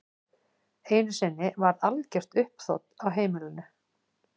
Einu sinni varð algert uppþot á heimilinu.